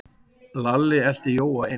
Lalli elti Jóa inn.